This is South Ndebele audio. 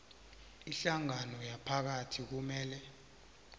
ihlangano yomphakathi kumele